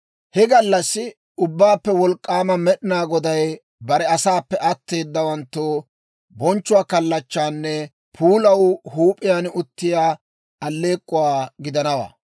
He gallassi Ubbaappe Wolk'k'aama Med'inaa Goday bare asaappe atteedawanttoo bonchchuwaa kallachchaanne puulaw huup'iyaan uttiyaa aleek'k'uwaa gidanawaa.